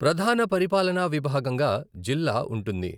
ప్రధాన పరిపాలనా విభాగంగా జిల్లా ఉంటుంది.